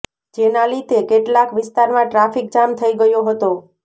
જેના લીધે કેટલાક વિસ્તારમાં ટ્રાફીક જામ થઈ ગયો હતો